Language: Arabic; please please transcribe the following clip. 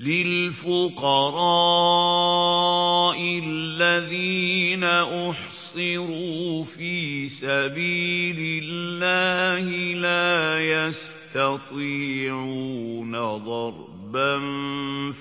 لِلْفُقَرَاءِ الَّذِينَ أُحْصِرُوا فِي سَبِيلِ اللَّهِ لَا يَسْتَطِيعُونَ ضَرْبًا